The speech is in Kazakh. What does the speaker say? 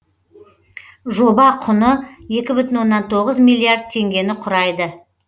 жоба құны екі бүтін оннан тоғыз миллиард теңгені құрайды